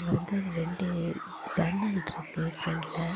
இங்கவந்து ரெண்டு ஜன்னல் இருக்கு பிரண்ட்ல .